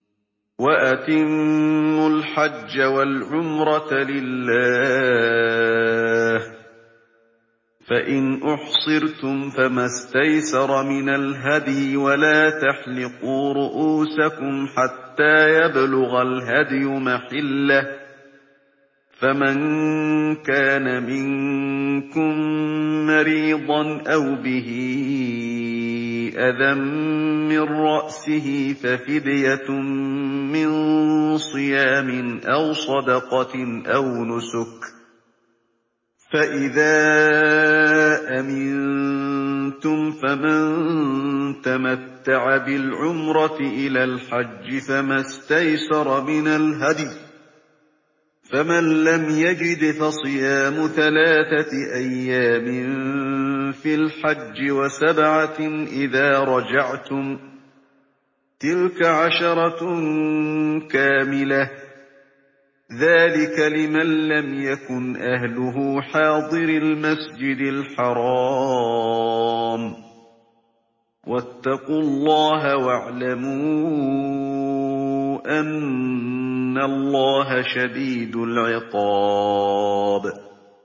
وَأَتِمُّوا الْحَجَّ وَالْعُمْرَةَ لِلَّهِ ۚ فَإِنْ أُحْصِرْتُمْ فَمَا اسْتَيْسَرَ مِنَ الْهَدْيِ ۖ وَلَا تَحْلِقُوا رُءُوسَكُمْ حَتَّىٰ يَبْلُغَ الْهَدْيُ مَحِلَّهُ ۚ فَمَن كَانَ مِنكُم مَّرِيضًا أَوْ بِهِ أَذًى مِّن رَّأْسِهِ فَفِدْيَةٌ مِّن صِيَامٍ أَوْ صَدَقَةٍ أَوْ نُسُكٍ ۚ فَإِذَا أَمِنتُمْ فَمَن تَمَتَّعَ بِالْعُمْرَةِ إِلَى الْحَجِّ فَمَا اسْتَيْسَرَ مِنَ الْهَدْيِ ۚ فَمَن لَّمْ يَجِدْ فَصِيَامُ ثَلَاثَةِ أَيَّامٍ فِي الْحَجِّ وَسَبْعَةٍ إِذَا رَجَعْتُمْ ۗ تِلْكَ عَشَرَةٌ كَامِلَةٌ ۗ ذَٰلِكَ لِمَن لَّمْ يَكُنْ أَهْلُهُ حَاضِرِي الْمَسْجِدِ الْحَرَامِ ۚ وَاتَّقُوا اللَّهَ وَاعْلَمُوا أَنَّ اللَّهَ شَدِيدُ الْعِقَابِ